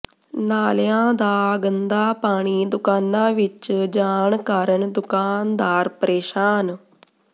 ਨਾਲਿਆਂ ਦਾ ਗੰਦਾ ਪਾਣੀ ਦੁਕਾਨਾਂ ਵਿੱਚ ਜਾਣ ਕਾਰਨ ਦੁਕਾਨਦਾਰ ਪ੍ਰੇਸ਼ਾਨ